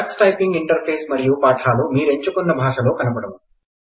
Tux typing interface మరియూ పాఠాలు మీరు ఎంచుకున్న భాషలో కనపడును